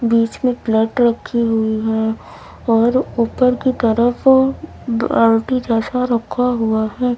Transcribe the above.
बीच में प्लट रखी हुई हैं और ऊपर की तरफ बाल्टी जैसा रखा हुआ है।